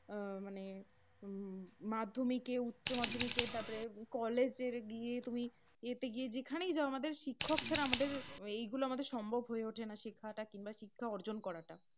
এর মানে মাধ্যমিকে উচ্চমাধ্যমিকে তারপরে কলেজে গিয়ে তুমি ইয়েতে গিয়ে জেখানেই যাও শিক্ষক ছাড়া আমাদের এইগুলো আমাদের সম্ভব হয়ে ওঠে না। শেখাতা কিংবা শিক্ষা অর্জন করাটা।